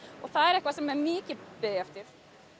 og það er eitthvað sem er mikið beðið eftir